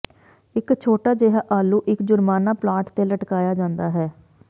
ਇੱਕ ਛੋਟਾ ਜਿਹਾ ਆਲੂ ਇੱਕ ਜੁਰਮਾਨਾ ਪਲਾਟ ਤੇ ਲਟਕਾਇਆ ਜਾਂਦਾ ਹੈ